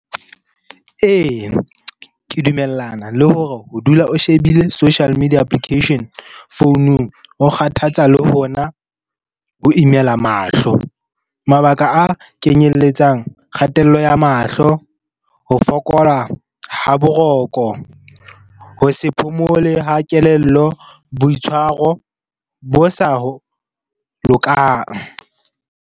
Eya, ke dumellana le hore ho dula o shebile social media application founung ho kgathatsa le hona ho imela mahlo. Mabaka a kenyelletsang kgatello ya mahlo, ho fokola ha boroko, ho se phomole ha kelello, boitshwaro bo sa lokang.